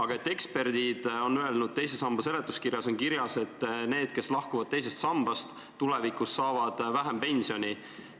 Kuid eksperdid on öelnud – teise samba seletuskirjas on kirjas –, et need, kes teisest sambast lahkuvad, hakkavad tulevikus vähem pensioni saama.